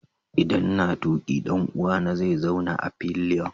Idan n'na tuki, dan uwa na zai zauna a fillion.